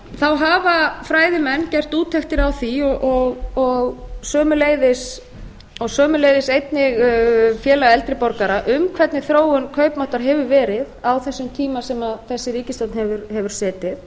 þá hafa fræðimenn gert úttektir á því og sömuleiðis einnig félag eldri borgara um hvernig þróun kaupmáttar hefur verið á þessum tíma sem þessi ríkisstjórn hefur setið